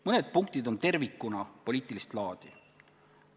Mõned punktid on tervikuna poliitilist laadi.